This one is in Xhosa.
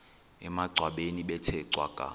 emangcwabeni bethe cwaka